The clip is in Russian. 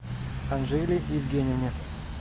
анжеле евгеньевне